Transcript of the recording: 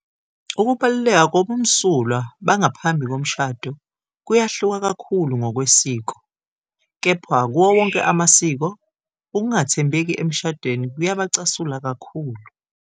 Ukubaluleka kobumsulwa bangaphambi komshado kuyahluka kakhulu ngokwesiko, kepha kuwo wonke amasiko, ukungathembeki emshadweni kuyabacasula kakhulu